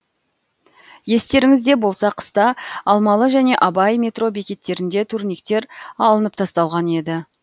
естеріңізде болса қыста алмалы және абай метро бекеттерінде турниктер алынып тасталған еді